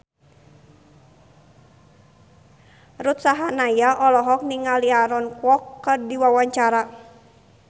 Ruth Sahanaya olohok ningali Aaron Kwok keur diwawancara